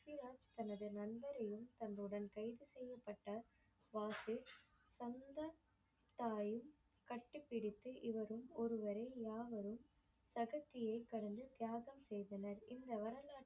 தனது நண்பரையும் தன்னுடன் கைது செய்யப்பட்ட வாசு தந்த தாயும் கட்டிபிடித்து இவரும் ஒருவரில் யாவரும் தகுதியை கடந்து தியாகம் செய்தனர். இந்த வரலாற்றில்